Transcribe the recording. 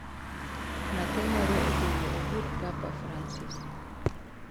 Nyathi moro ogolo ogut Papa Fransis